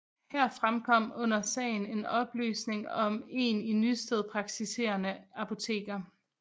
Her fremkom under sagen en oplysning om en i Nysted praktiserende apoteker